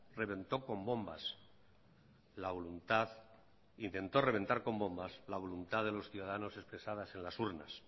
reventó con bombas la voluntad intentó reventar con bombas la voluntad de los ciudadanos expresadas en las urnas